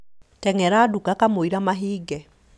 Teng'era nduka kamũira mahinge